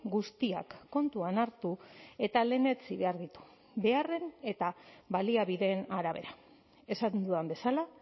guztiak kontuan hartu eta lehenetsi behar ditu beharren eta baliabideen arabera esan dudan bezala